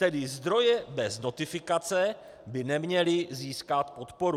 Tedy zdroje bez notifikace by neměly získat podporu.